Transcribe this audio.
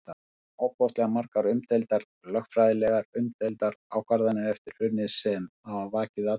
Við tókum ofboðslega margar umdeildar, lögfræðilega umdeildar ákvarðanir eftir hrunið sem hafa vakið athygli?